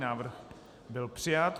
Návrh byl přijat.